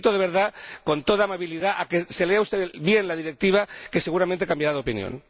La invito de verdad, con toda amabilidad, a que se lea usted bien la Directiva, porque seguramente cambiará de opinión.